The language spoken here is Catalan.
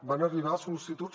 van arribar sol·licituds